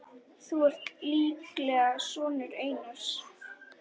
Þú ert líklega sonur Einars.